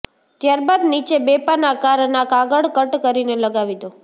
ત્યારબાદ નીચે બે પાન આકારના કાગળ કટ કરીને લગાવી દો